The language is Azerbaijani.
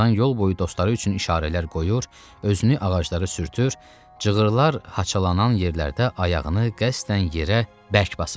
Tarzan yol boyu dostları üçün işarələr qoyur, özünü ağaclara sürtür, cığırlar haçalanan yerlərdə ayağını qəsdən yerə bərk basırdı.